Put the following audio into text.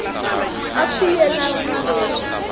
a swi yelani ni leswi